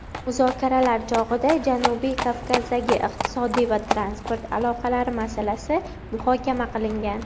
muzokaralar chog‘ida Janubiy Kavkazdagi iqtisodiy va transport aloqalari masalasi muhokama qilingan.